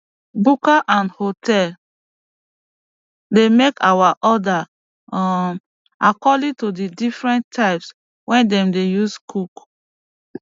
buka and hotel dey make our order um according to di difrent times wey dem dey use cook